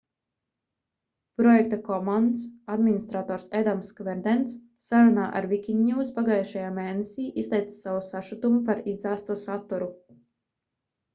projekta commons administrators edams kverdens sarunā ar wikinews pagājušajā mēnesī izteica savu sašutumu par izdzēsto saturu